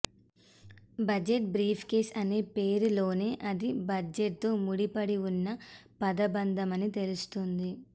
budget briefcase అనే పేరులోనే అది బడ్జెట్తో ముడిపడి ఉన్న పదబంధమని తెలుస్తోంది